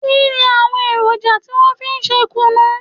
Kínni àwọn èròjà tí wọn fi ń ṣe kùnú?